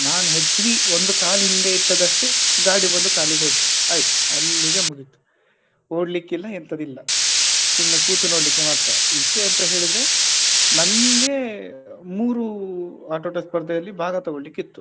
ನಾನ್ ಹೆದ್ರಿ ಒಂದು ಕಾಲು ಹಿಂದೆ ಇಟ್ಟದಷ್ಟೆ ಗಾಡಿ ಬಂದು ಕಾಲಿಗೆ ಹೊಡ್ತು ಆಯ್ತು ಅಲ್ಲಿಗೆ ಮುಗೀತು ಓಡ್ಲಿಕ್ಕೆ ಇಲ್ಲ ಎಂತದ್ದು ಇಲ್ಲ ಸುಮ್ನೆ ಕೂತು ನೋಡ್ಲಿಕ್ಕೆ ಮಾತ್ರ ವಿಷಯ ಎಂತ ಹೇಳಿದ್ರೆ ನಂಗೆ ಮೂರು ಆಟೋಟ ಸ್ಪರ್ಧೆಯಲ್ಲಿ ಭಾಗ ತಕೊಳ್ಳಿಕ್ಕೆ ಇತ್ತು.